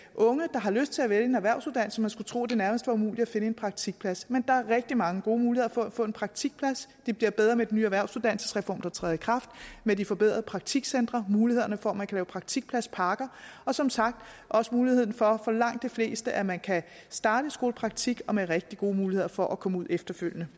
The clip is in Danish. der har lyst til at vælge en erhvervsuddannelse man skulle tro det nærmest var umuligt at finde en praktikplads men der er rigtig mange gode muligheder for at få en praktikplads og det bliver bedre med den nye erhvervsuddannelsesreform der træder i kraft med de forbedrede praktikcentre mulighederne for at man kan lave praktikpladspakker og som sagt også muligheden for for langt de fleste at man kan starte i skolepraktik og med rigtig gode muligheder for at komme ud efterfølgende